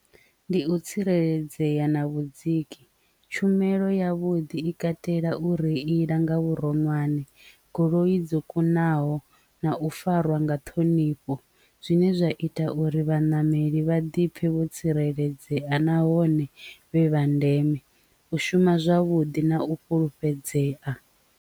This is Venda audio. Ndi u tsireledzea na vhudziki tshumelo ya vhuḓi i katela u ri iḽa nga vhuronwane goloi dzo kunaho na u farwa nga ṱhohoni ṱhonifho zwine zwa ita uri vhanameli vha ḓipfe vho tsireledzea nahone vhe vha ndeme u shuma zwavhuḓi na u fhulufhedzea.